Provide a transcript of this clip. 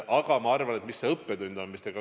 Te küsisite ka, mis see õppetund on.